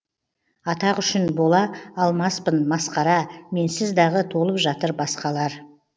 атақ үшін бола алмаспын масқара менсіз дағы толып жатыр басқалар